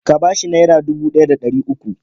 Ka ba shi Naira dubu ɗaya da ɗari uku.